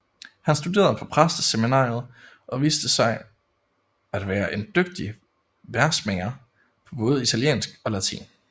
Han studerede på præsteseminariet og viste sig at være en dygtig versmager på både italiensk og latin